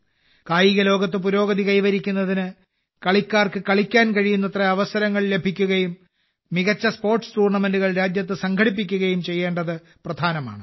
കായികലോകത്ത് പുരോഗതി കൈവരിക്കുന്നതിന് കളിക്കാർക്ക് കളിക്കാൻ കഴിയുന്നത്ര അവസരങ്ങൾ ലഭിക്കുകയും മികച്ച സ്പോർട്സ് ടൂർണമെന്റുകൾ രാജ്യത്ത് സംഘടിപ്പിക്കുകയും ചെയ്യേണ്ടത് പ്രധാനമാണ്